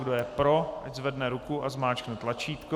Kdo je pro, ať zvedne ruku a zmáčkne tlačítko.